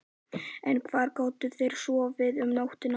En hvar gátu þeir sofið um nóttina?